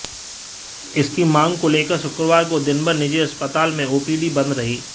इसकी मांग को लेकर शुक्रवार को दिनभर निजी अस्पताल में ओपीडी बंद रही